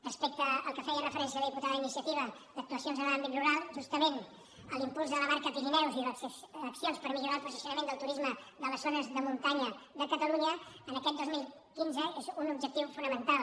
respecte al que feia referència la diputada d’iniciativa d’actuacions en l’àmbit rural justament l’impuls de la marca pirineus i les accions per millorar el posicionament del turisme de les zones de muntanya de catalunya aquest dos mil quinze són un objectiu fonamental